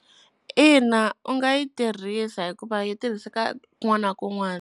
Ina, u nga yi thirhisa hikuva yi tirhiseka kun'wana na ku'nwana.